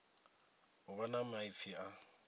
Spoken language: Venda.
u vha na maipfi aya